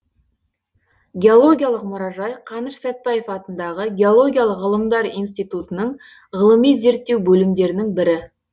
геологиялық мұражай қаныш сәтбаев атындағы геологиялық ғылымдар институтының ғылыми зерттеу бөлімдерінің бірі